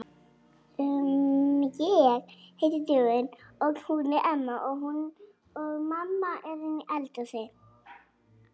Ekki þorað að berja í borðið og segja að hingað fari ég og ekki lengra.